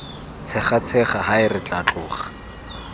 tshegatshega hae re tla tloga